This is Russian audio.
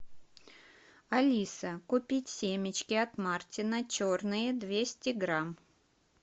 алиса купить семечки от мартина черные двести грамм